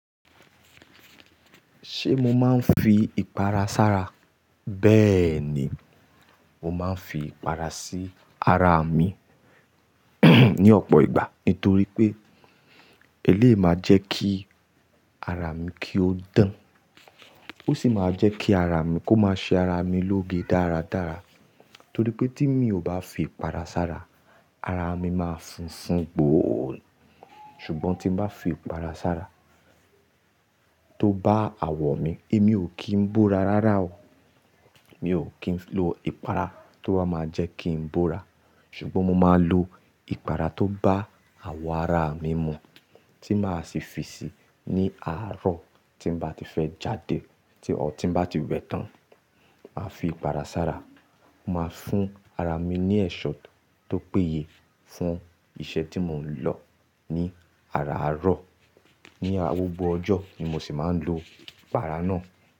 Ṣé mo máa ń fi ìpara sára? Bẹ́ẹ̀ ni, mo máa ń fi ìpara sí ara mi ní ọ̀pọ̀ ìgbà. Nítorí pé, elé máa jẹ́ kí ara mi kí ó dán. Ó sì máa jẹ́ kí ara mi kó máa ṣe ara mi lóge dáradára. Nítorí pé tí mi ò bá fi ìpara sára, ara mi máa funfun gbọ̀ọ́. Ṣùgbọ́n tí bá fi ìpara sára tó bá àwọ̀ mi, èmi ò kí ń búra rárá o. Mi ò kí ń lo ìpara tó bá máa jẹ́ kí n búra. Ṣùgbọ́n mo máa ń lo ìpara tó bá àwọ̀ ara mi mu, tí màá sì fi sí i ní àárọ̀ tí n bá ti fẹ́ jáde, tí-- ọ́ tí n bá ti wẹ tán. Màá fi ìpara sára, màá fún ara mi ní ẹ̀ṣọ́ tó péye, fún iṣẹ́ tí mò ń lọ ní àárọ̀. Ni gbogbo ọjọ́ ni mo sì máa ń lo ìpara náà.